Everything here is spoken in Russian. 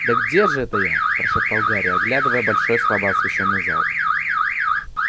да где же это я прошептал гарри оглядывая большой слабо освещённый зал